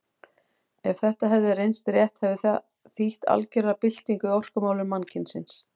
Ef þetta hefði reynst rétt hefði það þýtt algera byltingu í orkumálum mannkynsins.